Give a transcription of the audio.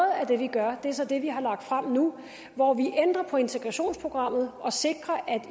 af det vi gør er så det vi har lagt frem nu hvor vi ændrer på integrationsprogrammet og sikrer at